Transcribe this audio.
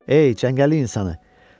Ey, çəngəlli insanı.